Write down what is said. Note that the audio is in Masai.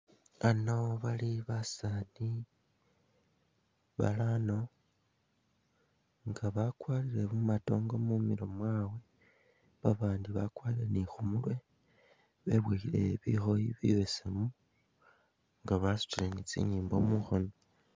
Bano bali basaani barano nga bakwarire bumatongo mumilo mwabwe, babaandi bakwara ni khu murwe, beboyile bikhooyi bibesemu nga basutile ni tsinyimbo mukhoono.